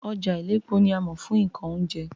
Ọjà Iléepo ni a mọ̀ fún nǹkan oúnjẹ